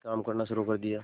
काम करना शुरू कर दिया